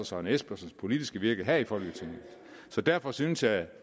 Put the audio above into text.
søren espersens politiske virke her i folketinget så derfor synes jeg